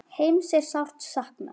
Heimis er sárt saknað.